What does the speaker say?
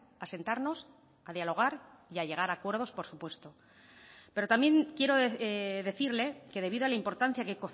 a sentarnos a dialogar y a llegar a acuerdos por supuesto pero también quiero decirle que debido a la importancia que